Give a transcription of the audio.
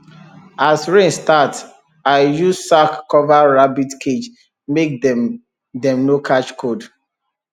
as rain start i use sack cover rabbit cage make dem dem no catch cold